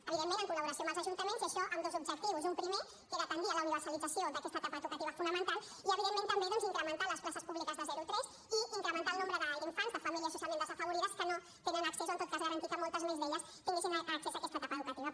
evidentment en col·laboració amb els ajuntaments i això amb dos objectius un primer que era tendir a la universalització d’aquesta etapa educativa fonamental i evidentment també doncs incrementar les places públiques de zero tres i incrementar el nombre d’infants de famílies socialment desafavorides que no tenen accés o en tot cas garantir que moltes més d’elles tinguessin accés a aquesta etapa educativa